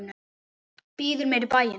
Býður mér í bæinn.